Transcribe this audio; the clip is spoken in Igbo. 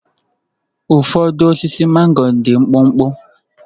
Ụfọdụ osisi mango dị mkpụmkpụ.